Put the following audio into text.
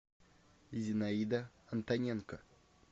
зинаида антоненко